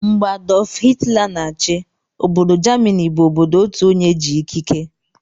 Mgbe Adulf hilter na-chi, Obodo Jamini bu obodo Otuonye ji ikike